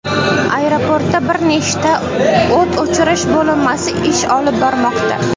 Aeroportda bir nechta o‘t o‘chirish bo‘linmasi ish olib bormoqda.